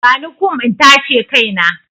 Bani kum in tace kai na!